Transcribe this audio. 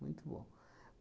Muito bom.